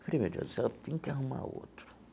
Eu falei, meu Deus do céu, tenho que arrumar outro.